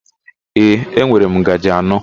Ee, enwere m ngaji anọ.